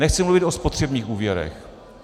Nechci mluvit o spotřebních úvěrech.